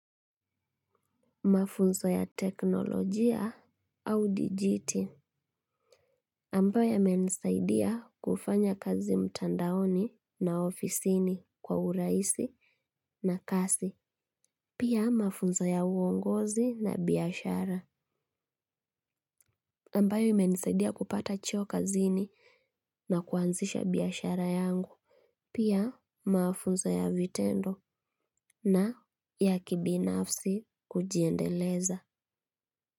Mafunzo ya teknolojia au dijiti. Ambayo yamenisaidia kufanya kazi mtandaoni na ofisini kwa uraisi na kasi. Pia mafunza ya uongozi na biyashara. Ambayo imenisaidia kupata cheo kazini na kuanzisha biashara yangu. Pia mafunza ya vitendo na ya kibinafsi kujiendeleza.